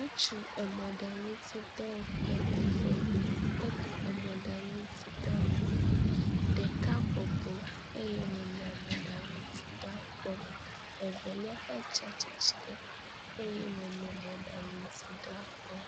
Ŋutsu emɔɖaŋutidɔwɔƒe eve. Wole mɔɖaŋutidɔwɔƒe, ɖeka bɔbɔ eye wònɔ mɔɖaŋutidɔa kpɔm evelia hã tsi atsitre eye wòle mɔɖaŋutidɔa kpɔm.